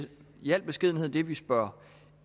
i al beskedenhed det vi spørger